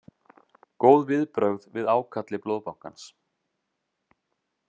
Góð viðbrögð við ákalli Blóðbankans